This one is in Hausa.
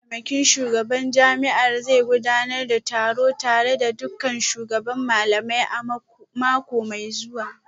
Mataimakin shugaban jami'ar zai gudanar da taro tare da dukkan shugaban malamai a mako mai zuwa